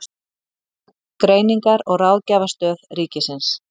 Greiningar- og ráðgjafarstöð ríkisins.